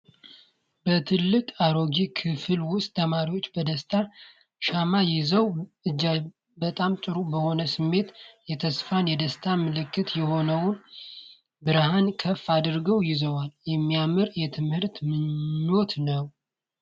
በትልቅና አሮጌ ክፍል ውስጥ ተማሪዎች በደስታ ሻማ ይዘዋል። እጅግ በጣም ጥሩ በሆነ ስሜት፣ የተስፋና የደስታ ምልክት የሆነውን ብርሃን ከፍ አድርገው ይዘዋል። የሚያምር የትምህርት ምኞት ነው።